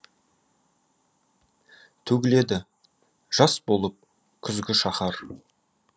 төгіледі жас болып күзгі шаһар